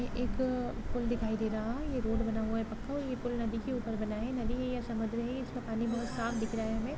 ये एक पुल दिखाई दे रहा हैं ये रोड बना हुआ हैं पक्का और ये पुल नदी के ऊपर बना हैं नदी है या समुद्र है इसका पानी बहुत साफ दिख रहा है हमे--